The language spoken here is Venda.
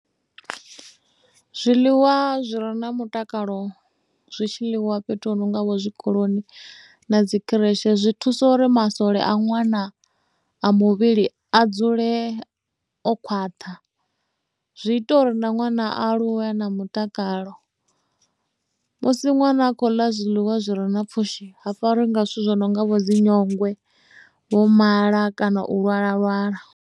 Zwiḽiwa zwire na mutakalo zwi tshi ḽiwa fhethu hu nonga vho zwikoloni na dzikhireshe zwi thusa uri masole a ṅwana a muvhili a dzule o khwaṱha zwi ita uri na ṅwana aluwe na mutakalo musi nwana a khou ḽa zwiḽiwa zwi re na pfhushi ha fariwi nga zwithu zwo no nga vho dzinyongwe vho mala kana u lwala lwala.